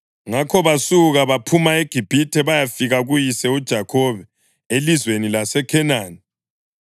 Ngakho basuka baphuma eGibhithe bayafika kuyise uJakhobe elizweni laseKhenani.